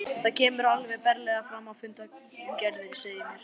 Og það kemur alveg berlega fram í fundargerðinni, segir mér